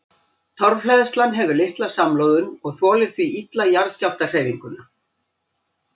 Torfhleðslan hefur litla samloðun og þolir því illa jarðskjálftahreyfinguna.